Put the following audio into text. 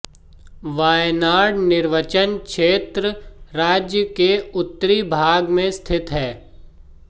वायनाड निर्वाचन क्षेत्र राज्य के उत्तरी भाग में स्थित है